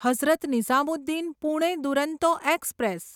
Hazrat Nizamuddin Pune Duronto express